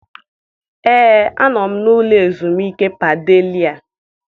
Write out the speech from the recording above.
Ee, anọ m n'ụlọ ezumike Padelia.